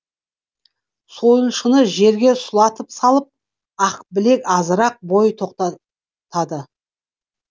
сойылшаны жерге сұлатып салып ақбілек азырақ бой тоқтатады